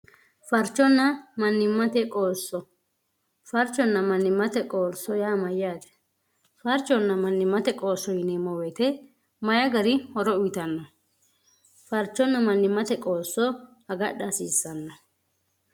farchonna mannimmate qoosso farchonna mannimmate qoolso yaa mayyaate farchonna mannimmate qoosso yineemmo weete mayi gari horo uyitanno farchonna mannimmate qoosso agadha hasiissanno